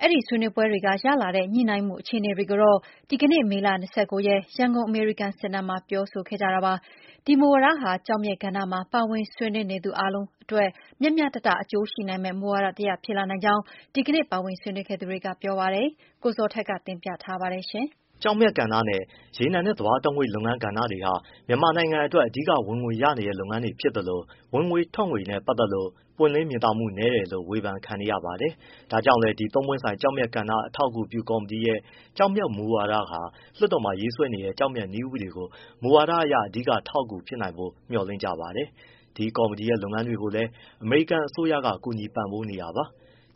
အဲဒီဆွေနွေးပွဲတွေက ရလာတဲ့ ညှိနှိုင်းမှုအခြေအနေတွေကိုတော့ ဒီနေ့မေလ ၂၉ရက် ရန်ကုန် အမေရိကန်စင်တာမှာ ပြောပြခဲ့ကြပါတယ်။ ဒီမူဝါဒဟာ ကျောက်မျက်ကဏ္ဍမှာ ပါဝင်နေသူတွေအားလုံး အတွက် မျှမျှတတအကျိူးရှိနိုင်မယ့် မူဝါဒတရပ် ဖြစ်လာနိုင်ကြောင်း ဒီနေ့ ပါဝင်ဆွေးနွေးခဲ့သူတွေက ပြောပါတယ်။ ဒီဆွေးနွေးပွဲကို သွားရောက် သတင်းယူခဲ့တဲ့ ကိုဇော်ထက်က ပြောပြပေးပါမယ်။ ကျောက်မျက်ကဏ္ဍနဲ့ ရေနံနဲ့သဘာဝဓါတ်ငွေ့လုပ်ငန်းကဏ္ဍတွေဟာ မြန်မာနိုင်ငံအတွက် အဓိက ဝင်ငွေရတဲ့ လုပ်ငန်းတွေဖြစ်သလို ငွေဝင်ငွေထွက်တွေနဲ့ပတ်သက်လို့ ပွင့်လင်းမြင်သာမှု နည်းတယ်လို့ ဝေဖန်ခံနေရပါတယ်။ ဒါကြောင့်လည်း ဒီသုံးပွင့်ဆိုင် ကျောက်မျက်ကဏ္ဍ အထောက်အကူပြုကော်မတီရဲ့ ‘ကျောက်မျက်မူဝါဒ’ ဟာ လွှတ်တော်မှာရေးဆွဲနေတဲ့ ကျောက်မျက်နည်းဥပဒေကို မူဝါဒအရ အဓိက အထောက်အကူဖြစ်နိုင်ဖို့ မျှော်လင့်ကြပါတယ်။ ဒီကော်မတီရဲ့ လုပ်ငန်းတွေကိုလည်း အမေရိကန်အစိုးရက ကူညီ ပံ့ပိုးပေးနေတာပါ။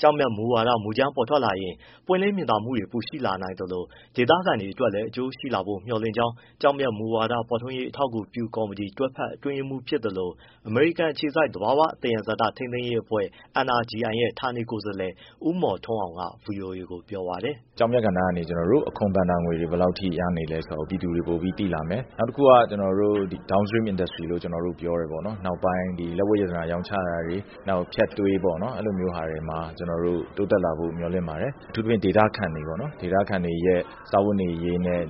ကျောက်မျက်မူဝါဒ မူကြမ်းပေါ်ထွက်လာရင် ပွင့်လင်းမြင်သာမှုတွေ ပိုရှိလာနိုင်သလို ဒေသခံတွေအတွက်လည်း အကျိုးရှိလာဖို့ မျှော်လင့်ကြောင်း ကျောက်မျက်မူဝါဒ ပေါ်ထွန်းရေး အထောက်အကူပြု ကော်မတီတွဲဖက်အတွင်းရေးမှူး ဖြစ်သလို အမေရိကန်အခြေစိုက် သဘာဝသယံဇာတ ထိန်းသိမ်းရေးအဖွဲ့ NRGI ရဲ့ ဌာနေကိုယ်စားလှယ် ဦးမော်ထွန်းအောင်က ဗွီအိုအေကိုပြောပါတယ်။ “ကျောက်မျက်ကဏ္ဍကနေ အခွန်ငွေ ဘယ်လောက်ရနေလဲဆိုတာကို ပြည်သူတွေ ပိုပြီးသိလာမယ်။ နောက်တခုက down stream industry လို့ ကျနော်တို့ပြောတယ် ပေါ့နော်။ နောက်ပိုင်း လက်ဝတ်ရတနာ ရောင်းချတာတွေ နောက်ဖြတ်သွေးပေါ့နော် အဲလိုမျိုးမှာ တိုးတက်လာဖို့ မျှော်လင့်တယ်။ အထူးသဖြင့်ဒေသခံတွေရဲ့ စားဝတ်နေရေးနဲ့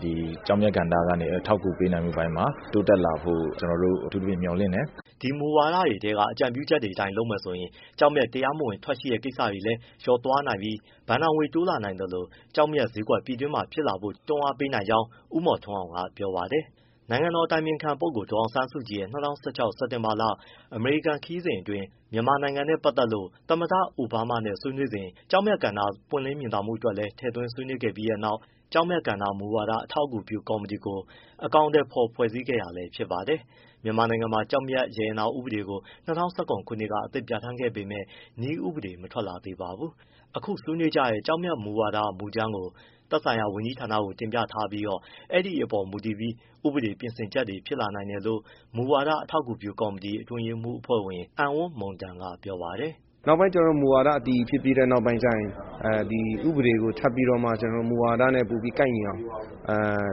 ကျောက်မျက်ကဏ္ဍကနေ အထောက်အကူပေးနိုင်မှုအပိုင်းမှာ တိုးတက်လာဖို့ အထူးသဖြင့် မျှော်လင့်တယ်။” ဒီမူဝါဒအထဲက အကြံပြုချက်တွေအတိုင်း လုပ်မယ်ဆိုရင် ကျောက်မျက် တရားမဝင် ထွက်ရှိတဲ့ ကိစ္စတွေလည်း လျော့သွားပြီး ဘဏ္ဍာငွေတိုးလာနိုင်သလို ကျောက်မျက်ဈေးကွက် ပြည်တွင်းမှာ ဖြစ်လာဖို့ တွန်းအားပေးနိုင်ကြောင်း ဦးမော်ထွန်းအောင်က ပြောပါတယ်။ နိုင်ငံတော် အတိုင်ပင်ခံပုဂ္ဂိုလ် ဒေါ်အောင်ဆန်းစုကြည်ရဲ့ ၂၀၁၆ စက်တင်ဘာလ အမေရိကန်ခရီးစဉ်အတွင်း မြန်မာနိုင်ငံနဲ့ပတ်သက်လို့ သမ္မတအိုဘားမားနဲ့ ဆွေးနွေးစဉ်မှာ ကျောက်မျက်ကဏ္ဍ ပွင့်လင်းမြင်သာဖို့အတွက်လည်း ထည့်သွင်းဆွေးနွေးခဲ့ပြီးနောက် ကျောက်မျက်ကဏ္ဍမူဝါဒ အထောက်အကူပြုကော်မတီကို အကောင်အထည်ဖော် ဖွဲ့စည်းခဲ့တာလည်း ဖြစ်ပါတယ်။ မြန်မာနိုင်ငံမှာ ကျောက်မျက်ရတနာ ဥပဒေကို ၂၀၁၇ ခုနှစ်က အသစ်ပြဌာန်းခဲ့ပေမဲ့ နည်းဥပဒေ မထွက်လာသေးပါဘူး။ အခု ဆွေးနွေးကြတဲ့ ကျောက်မျက်မူဝါဒမူကြမ်းကို သက်ဆိုင်ရာဝန်ကြီးဌာနကို တင်ပြထားပြီးတော့ အဲဒီအပေါ်မူတည်ပြီး ဥပဒေပြင်ဆင်ချက်တွေ ဖြစ်လာနိုင်တယ်လို့ မူဝါဒအထောက်အကူပြုကော်မတီ အတွင်းရေးမှူးအဖွဲ့ဝင် အန်ဝပ်မုန်ဒန် က ပြောပါတယ်။ “နောက်ပိုင်း ကျနော်တို့ မူဝါဒအတည်ဖြစ်ပြီးရင် ဒီဥပဒေကို ထပ်ပြီးတော့မှ ကျနော်တို့ မူဝါဒနဲ့ပိုပြီးကိုက်ညီအောင်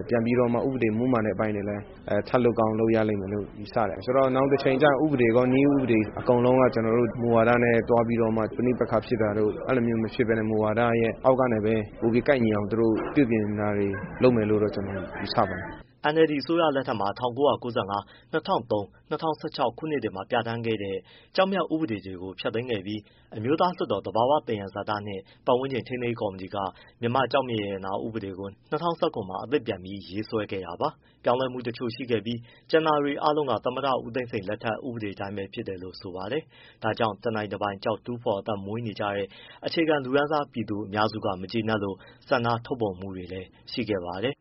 ပြန်ပြီးတော့ ဥပဒေ မွမ်းမံတဲ့အပိုင်းတွေလည်း ထပ်လုပ်ကောင်းလုပ်ရလိမ့်မယ်လို့ ယူဆတယ်။ ဆိုတော့ နောင်တချိန်ကျရင် ဥပဒေရော၊ နည်းဥပဒေရော အကုန်လုံးက ကျနော်တို့မူဝါဒနဲ့သွားပြီးတော့မှ ပဋိပက္ခမဖြစ်ဘဲ မူဝါဒရဲ့ အောက်ကနေပဲ ပိုပြီး ကိုက်ညီအောင် ပြုပြင်တာတွေ လုပ်မယ်လို့ ကျနော်တို့ ယူဆပါတယ်။” NLD အစိုးရလက်ထက်မှာ ၁၉၉၅၊ ၂၀၀၃၊ ၂၀၁၆ ခုနှစ်တွေမှာ ပြဋ္ဌာန်းခဲ့တဲ့ ကျောက်မျက်ဥပဒေတွေကို ဖျက်သိမ်းခဲ့ပြီး အမျိုးသားလွှတ်တော် သယံဇာတနှင့် သဘာဝပတ်ဝန်းကျင် ထိန်းသိမ်းရေး ကော်မတီက မြန်မာ့ကျောက်မျက်ရတနာဥပဒေကို ၂၀၁၇ မှာ အသစ်ပြန်ပြီး ရေးဆွဲခဲ့တာပါ။ ပြောင်းလဲမှုတချို့ရှိခဲ့ပြီး ကျန်တာတွေအားလုံးက သမ္မတဦးသိန်းစိန်လက်ထက် ဥပဒေအတိုင်းပဲ ဖြစ်တယ်လို့ ဆိုပါတယ်။ ဒါကြောင့် တနိုင်တပိုင်ကျောက်တူးဖော် အသက်မွေးနေတဲ့ အခြေခံလူတန်းစား ပြည်သူအများစုက မကျေနပ်လို့ ဆန္ဒထုတ်ဖော်မှုတွေလည်းရှိခဲ့ပါတယ်